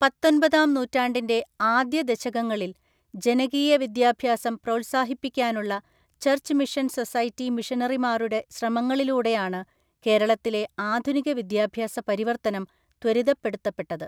പത്തൊന്‍പതാം നൂറ്റാണ്ടിന്‍റെ ആദ്യദശകങ്ങളിൽ ജനകീയവിദ്യാഭ്യാസം പ്രോൽസാഹിപ്പിക്കാനുള്ള ചർച്ച് മിഷൻ സൊസൈറ്റി മിഷനറിമാരുടെ ശ്രമങ്ങളിലൂടെയാണ് കേരളത്തിലെ ആധുനിക വിദ്യാഭ്യാസ പരിവർത്തനം ത്വരിതപ്പെടുത്തപ്പെട്ടത്‌.